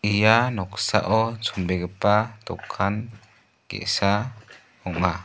ia noksao chonbegipa dokan ge·sa ong·a.